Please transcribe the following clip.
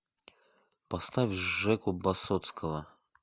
поставь жеку басотского